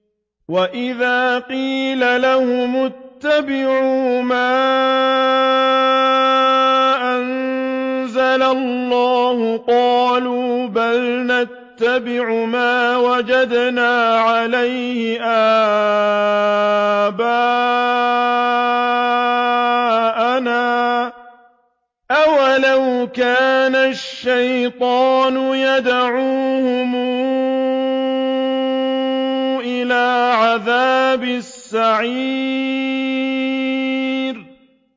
وَإِذَا قِيلَ لَهُمُ اتَّبِعُوا مَا أَنزَلَ اللَّهُ قَالُوا بَلْ نَتَّبِعُ مَا وَجَدْنَا عَلَيْهِ آبَاءَنَا ۚ أَوَلَوْ كَانَ الشَّيْطَانُ يَدْعُوهُمْ إِلَىٰ عَذَابِ السَّعِيرِ